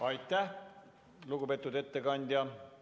Aitäh, lugupeetud ettekandja!